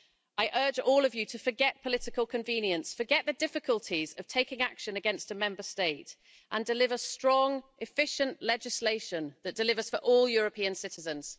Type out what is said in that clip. I urge all of you to forget political convenience, forget the difficulties of taking action against a Member State and deliver strong, efficient legislation that delivers for all European citizens.